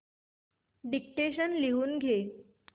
dictation लिहून घे